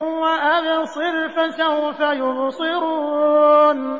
وَأَبْصِرْ فَسَوْفَ يُبْصِرُونَ